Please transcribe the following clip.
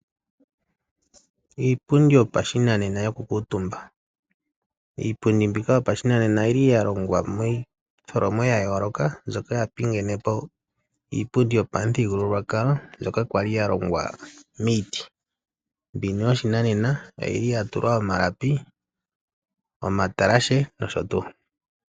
Iipundi yopashinanena yoku kiitumba. Iipundi mmbika yopashinanena oyili yalongwa miitholomo yayooloka mbyoka yapingenepo iipundi yopamuthigululwakalo mbyoka kwali yalongwa miiti mbino yoshinanena oyili yatulwa omalapi, omatalashe nosho tuu.